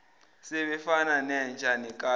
sebefana nenja nekati